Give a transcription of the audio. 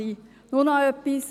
Nur noch etwas: